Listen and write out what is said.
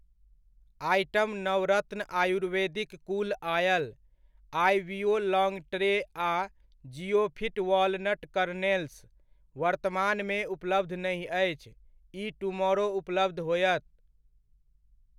Item Navratna ayurvedic cool oil, IVO long tray आ Ziofit walnut kernels वर्तमानमे उपलब्ध नहि अछि, ई टुमोरो उपलब्ध होयत।